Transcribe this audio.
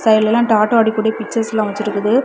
கைல எல்லா டாட்டு அடிக்கக்கூடிய பிக்சர்ஸ் எல்லாம் வச்சி இருக்குது.